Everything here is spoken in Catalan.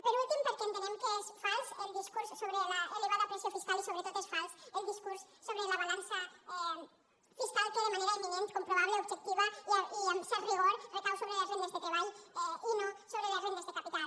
per últim perquè entenem que és fals el discurs sobre l’elevada pressió fiscal i sobretot és fals el discurs sobre la balança fiscal que de manera imminent comprovable objectiva i amb cert rigor recau sobre les rendes de treball i no sobre les rendes de capital